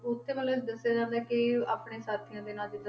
ਉੱਥੇ ਮਤਲਬ ਦੱਸਿਆ ਜਾਂਦਾ ਕਿ ਆਪਣੇ ਸਾਥੀਆਂ ਦੇ ਨਾਲ ਜਿੱਦਾਂ